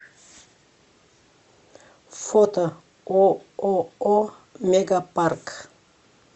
фото ооо мегапарк